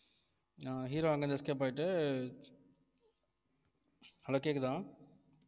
ஆஹ் hero அங்க இருந்து escape ஆயிட்டு hello கேக்குதா